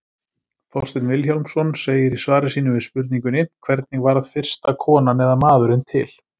Þorsteinn Vilhjálmsson segir í svari sínu við spurningunni Hvernig varð fyrsta konan eða maðurinn til?